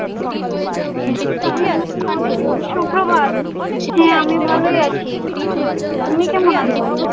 সুপ্রভাত হ্যাঁ, আমি ভালোই আছি তুমি কেমন আছো?